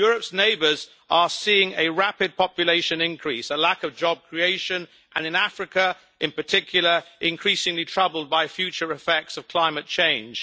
Europe's neighbours are seeing a rapid population increase, a lack of job creation and, in Africa in particular, are increasingly troubled by future effects of climate change.